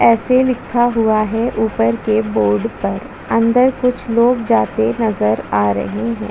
ऐसे लिखा हुआ है ऊपर के बोर्ड पर अंदर कुछ लोग जाते नज़र आ रहे है।